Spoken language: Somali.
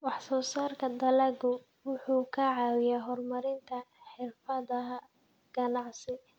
Wax-soo-saarka dalaggu wuxuu ka caawiyaa horumarinta xirfadaha ganacsi.